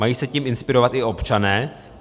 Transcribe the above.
Mají se tím inspirovat i občané?